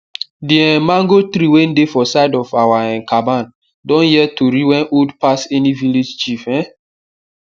d um mango tree way dey for side of our um caban don hear tori wey old pass any village chief um